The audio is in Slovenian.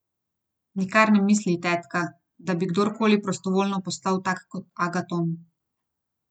Nikar ne misli, tetka, da bi kdorkoli prostovoljno postal tak kot Agaton.